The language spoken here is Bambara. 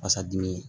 Fasa dimi